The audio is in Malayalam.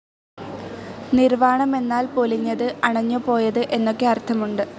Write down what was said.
നിർ‌വാണം എന്നാൽ പൊലിഞ്ഞത്, അണഞ്ഞുപോയത് എന്നൊക്കെ അർത്ഥമുണ്ട്.